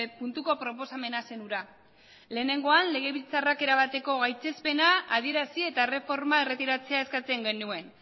puntuko proposamena zen hura lehenengoan legebiltzarrak erabateko gaitzespena adierazi eta erreforma erretiratzea eskatzen genuen